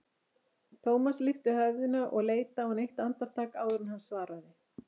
Thomas lyfti höfðinu og leit á hann eitt andartak áður en hann svaraði.